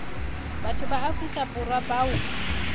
batho ba afrika borwa bao